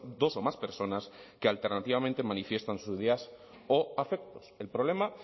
dos o más personas que alternativamente manifiestan sus ideas o afectos el problema